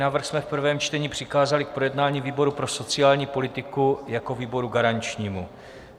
Návrh jsme v prvém čtení přikázali k projednání výboru pro sociální politiku jako výboru garančnímu.